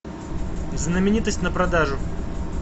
знаменитость на продажу